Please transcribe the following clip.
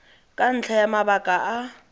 ka ntlha ya mabaka a